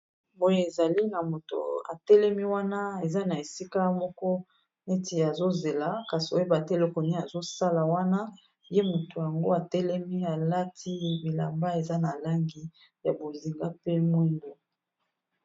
Boye ezali na moto atelemi wana eza na esika moko neti azozela kasi oyeba te eloko nini azosala wana ye moto yango atelemi alati bilamba eza na langi ya bozinga pe mwindu.